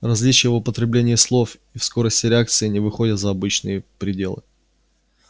различия в употреблении слов и в скорости реакции не выходят за обычные пределы